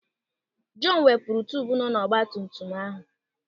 Jọn wepụrụ tubu nọ n'ọgbatumtum ahụ.